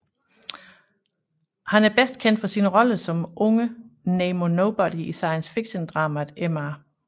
Han er bedst kendt for sine roller som unge Nemo Nobody i science fiction dramaet Mr